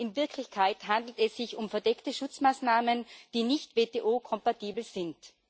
In Wirklichkeit handelt es sich um verdeckte Schutzmaßnahmen, die nicht WTO kompatibel sind.